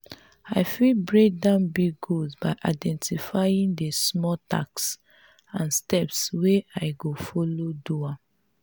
i fit break down big goals by identifying di smaller tasks and steps wey i go follow do am.